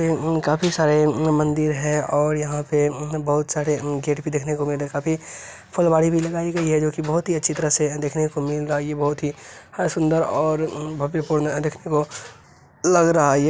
यह खाफी सारे मंदिर है और यहा पे बोहत सारे गेट भी दिखने को मिल रहे है खाफी फुलवाड़ी भी लागाई गयी है जो की बहुत ही अच्छी तरह से देखनो को मिल रही है बहुत ही सुद्नर और भव्य पूर्ण लग रहा है ये।